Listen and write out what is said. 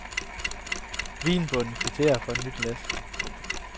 Vinbonden kvitterer for et nyt læs. punktum